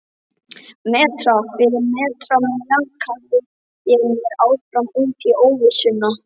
Metra fyrir metra mjakaði ég mér áfram út í óvissuna.